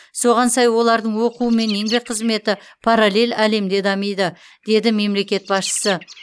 соған сай олардың оқуы мен еңбек қызметі параллель әлемде дамиды деді мемлекет басшысы